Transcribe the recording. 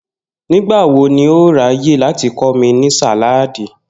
Nígbà wo ni o óò ráyè láti kó̩ mi ní sàláàdi?